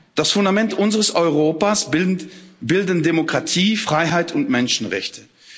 Das Fundament unseres Europas bilden Demokratie, Freiheit und Menschenrechte.